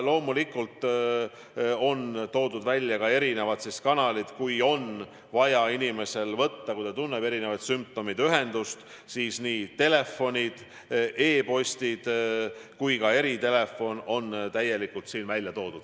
Loomulikult on teada antud ka erinevad kanalid, mida kasutades saab inimene ühendust võtta, kui ta tunneb sümptomeid: nii telefoninumbrid, e-posti aadressid kui ka eritelefoni number on siin välja toodud.